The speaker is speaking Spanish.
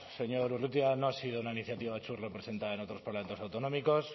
señor urrutia no ha sido una iniciativa representada en otros parlamentos autonómicos